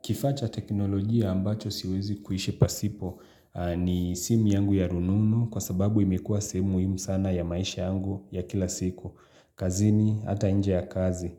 Kifaa cha teknolojia ambacho siwezi kuishi pasipo ni simu yangu ya rununu kwa sababu imekuwa sehemu muhimu sana ya maisha yangu ya kila siku. Kazini, ata nje ya kazi.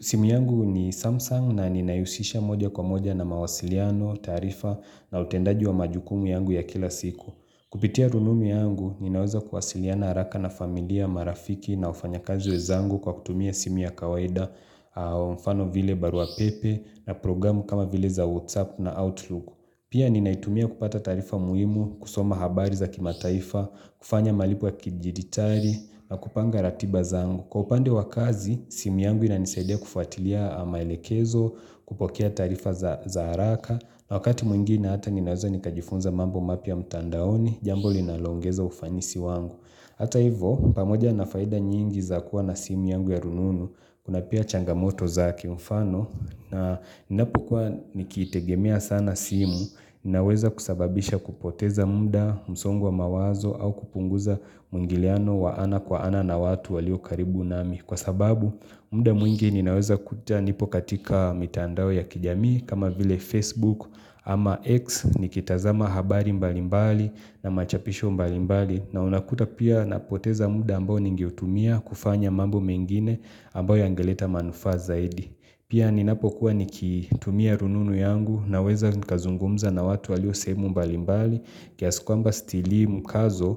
Simu yangu ni Samsung na ninahihusisha moja kwa moja na mawasiliano, taarifa na utendaji wa majukumu yangu ya kila siku. Kupitia rununu yangu, ninaweza kuwasiliana haraka na familia, marafiki na wafanyakazi wenzangu kwa kutumia simu ya kawaida au mfano vile barua pepe na programu kama vile za WhatsApp na Outlook. Pia ninaitumia kupata taarifa muhimu, kusoma habari za kimataifa, kufanya malipo ya kijiditali na kupanga ratiba zangu. Kwa upande wa kazi, simu yangu inanisaidia kufuatilia maelekezo kupokea taarifa za haraka na wakati mwingine hata ninaweza nikajifunza mambo mapya mtandaoni, jambo linalongeza ufanisi wangu Hata hivyo, pamoja na faida nyingi za kuwa na simu yangu ya rununu, kuna pia changamoto za kimfano na napokuwa nikitegemea sana simu, inaweza kusababisha kupoteza muda, msongo wa mawazo au kupunguza muingiliano wa ana kwa ana na watu walio karibu nami. Kwa sababu, muda mwingi ninaweza kuta nipo katika mitandao ya kijamii kama vile Facebook ama X nikitazama habari mbalimbali na machapisho mbalimbali na unakuta pia napoteza muda ambao ningeutumia kufanya mambo mengine ambayo yangeleta manufaa zaidi. Pia ninapokuwa nikitumia rununu yangu naweza nikazungumza na watu walio sehemu mbalimbali kiasi kwamba sitilii mkazo,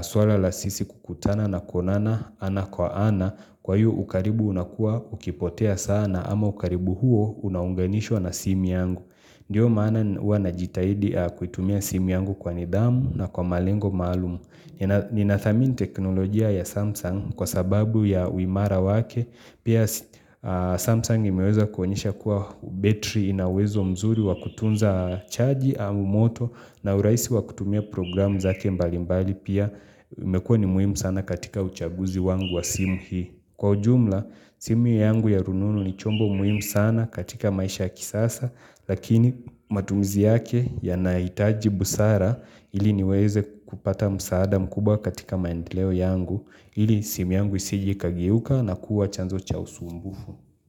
swala la sisi kukutana na kuonana ana kwa ana, kwa iyo ukaribu unakuwa ukipotea sana ama ukaribu huo unaunganishwa na simu yangu. Ndiyo maana huwa najitahidi kuitumia simu yangu kwa nidhamu na kwa malengo maalum. Ninadhamini teknolojia ya Samsung kwa sababu ya uimara wake Pia s Samsung imeweza kuonyesha kuwa battery ina uwezo mzuri wa kutunza chaji au moto na urahisi wa kutumia programu zake mbali mbali pia imekuwa ni muhimu sana katika uchaguzi wangu wa simu hii. Kwa ujumla, simu yangu ya rununu ni chombo muhimu sana katika maisha ya kisasa Lakini matumizi yake yanahitaji busara ili niweze kupata msaada mkubwa katika maendeleo yangu, ili simu yangu isije ikageuka na kuwa chanzo cha usumbufu.